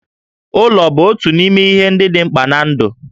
Ụlọ bụ otu n'ime ihe ndị dị mkpa ná ndụ